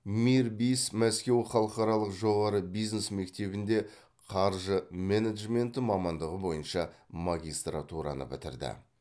мирбис мәскеу халықаралық жоғары бизнес мектебінде қаржы менеджменті мамандығы бойынша магистратураны бітірді